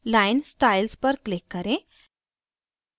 line styles पर click करें